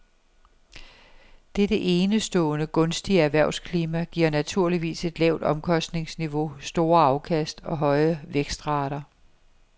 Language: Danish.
Dette enestående gunstige erhvervsklima giver naturligvis et lavt omkostningsniveau, store afkast og høje vækstrater.